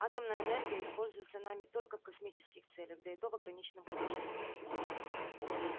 атомная энергия используется нами только в космических целях да и то в ограниченном количестве